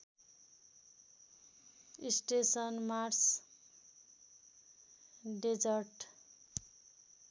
station Mars desert